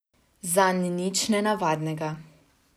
Zanj nič nenavadnega.